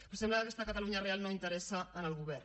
però sembla que aquesta catalunya real no interessa al govern